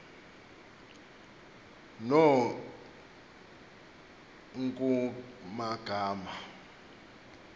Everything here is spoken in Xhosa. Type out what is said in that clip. no nkr kumagama